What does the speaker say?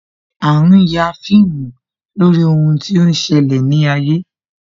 A ń ya fíìmù lórí ohun tí ó ṣẹlẹ̀ ní ayé